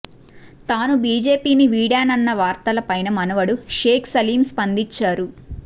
తాను బిజెపిని వీడానన్న వార్తల పైన మనవడు షేక్ సలీం స్పందించారు